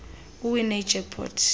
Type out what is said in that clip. uwine ijack pot